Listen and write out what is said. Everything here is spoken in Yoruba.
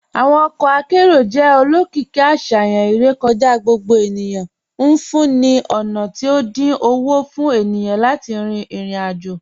Awọn ọkọ akẹrọ̀ jẹ́ olókììkí àṣayàn irèkọ̀já gbogbo ènìyàn, nfúǹní ní ọ̀na tí o dín ọwọ́ fún ènìyàn láti rin irò-ajò.